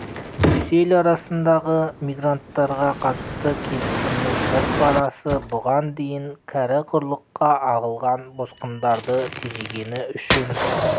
брюссель арасындағы мигранттарға қатысты келісімінің бір парасы бұған дейін кәрі құрлыққа ағылған босқындарды тежегені үшін